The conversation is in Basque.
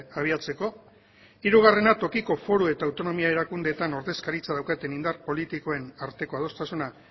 abiatzeko hirugarrena tokiko foru eta autonomia erakundeetan ordezkaritza daukaten indar politikoen arteko adostasuna